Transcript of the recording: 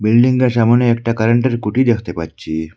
বিল্ডিংটার সামোনে একটা কারেন্টের খুঁটি দেখতে পাচ্ছি।